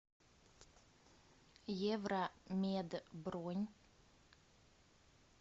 евромед бронь